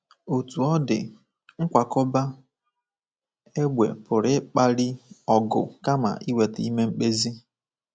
Otú ọ dị, nkwakọba égbè pụrụ ịkpali ọgụ kama ịweta ime mkpezi.